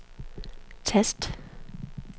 tast